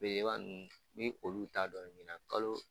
Belebeleba ninnu n min olu ta dɔn min na kalo